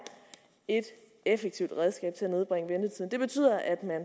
et effektivt redskab til at nedbringe ventetiden det betyder at